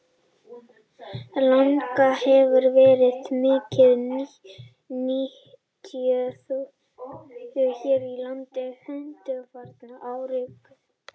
Langa hefur verið mikið nytjuð hér á landi undanfarna áratugi.